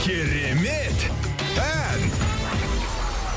керемет ән